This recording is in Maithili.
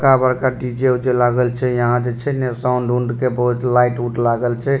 बड़का-बड़का डी.जे. उजे लागल छै यहाँ जे छै ना साउंड उण्ड के बहुत लाइट उट लागल छै।